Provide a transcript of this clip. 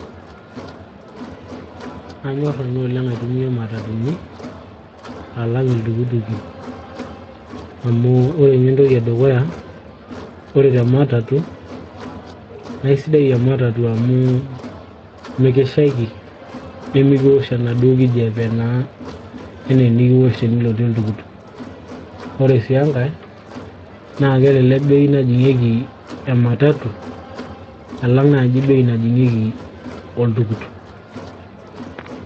anyorr nanu oleng aitumia imatatuni alang iltukutuki amu ore ninye entoki edukuya ore tematatu naa aisidai ematatu amu mikishaiki nemikiwosh enaduo kijape naa enaa enikiwosh tenilotie oltukutuk ore sii enkay naa kelelek bei najing'ieki ematatu alang naaji oltukutuk.